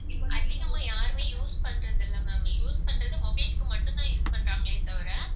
அதிகமா யாருமே use பண்றது இல்லை ma'am use பண்றது mobile க்கு மட்டும்தான் use பண்றாங்களே தவிர